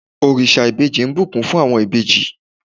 orisa ìbejí ń bùkún fún àwọn ìbejì